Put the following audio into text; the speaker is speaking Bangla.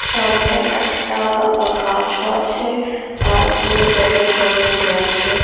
সামনে একটা গাছও আছে আর পুরো জায়গায় জল ভরে আছে।